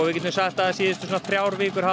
getum sagt að síðustu þrjár vikur hafa